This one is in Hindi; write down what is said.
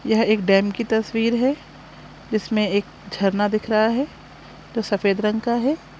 यह एक डैम की तस्वीर हैं जिसमें एक झरना दिख रहा हैं जो सफेद रंग का हैं।